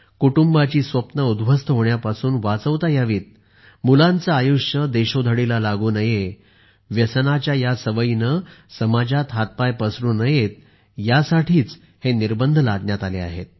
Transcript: कुटुंबाची स्वप्ने उद्ध्वस्त होण्यापासून वाचवता यावीत मुलांचे आयुष्य देशोधडीला लागू नये व्यसनाच्याया सवयीने समाजात हातपाय पसरू नयेत यासाठी हे निर्बंध लादण्यात आले आहेत